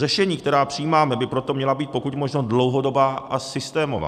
Řešení, která přijímáme, by proto měla být pokud možno dlouhodobá a systémová.